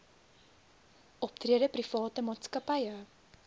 optrede private maatskappye